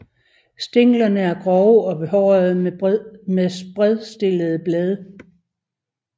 Stænglerne er grove og behårede med spredstillede blade